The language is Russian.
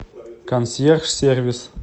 консьерж сервис